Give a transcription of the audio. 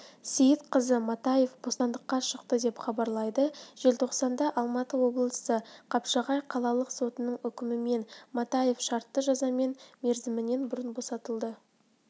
сейітқазы матаев бостандыққа шықты деп хабарлайды желтоқсанда алматы облысы қапшағай қалалық сотының үкімімен матаев шартты жазамен мерзімінен бұрын босатылды